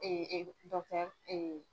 Ee ee dɔ kɛ eee